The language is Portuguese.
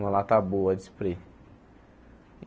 Uma lata boa de spray.